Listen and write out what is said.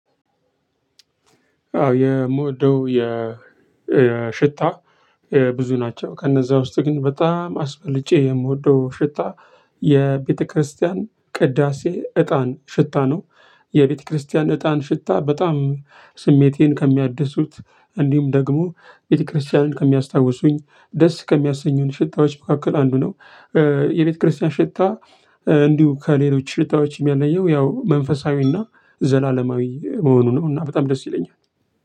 አው የምወደው የ የሽታ ብዙ ናቸው ከነዛ ውስጥ ግን በጣም አስበልጬ የምወደው ሽታ የቤተክርስቲያን ቅዳሴ እጣን ሽታ ነው የቤተክርስቲያን እጣን ሽታ በጣም ስሜቴን ከሚያድሱት እንዲሁም ደግሞ ቤተክርስቲያንን ከሚያስታውሱኝ ደስ ከሚያሰኙን ሽታዎች መካከል አንዱ ነው። የቤተክርስቲያን ሽታ እንዲሁ ከሌሎች ሽታዎች ሚለየው ያው መንፈሳዊ እና ዘላለማዊ መሆኑ ነው። እና በጣም ደስ ይለኛል።